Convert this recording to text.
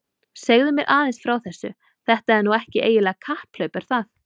Segðu mér aðeins frá þessu, þetta er nú ekki eiginlegt kapphlaup er það?